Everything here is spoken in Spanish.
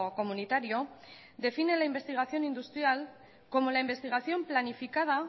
comunitario define la investigación industrial como la investigación planificada